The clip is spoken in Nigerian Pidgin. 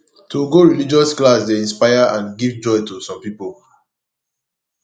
to go religious class de inspire and give joy to some pipo